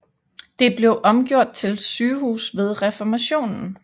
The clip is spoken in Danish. Det blev omgjort til sygehus ved Reformationen